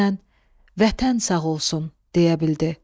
Güclə Vətən sağ olsun deyə bildi.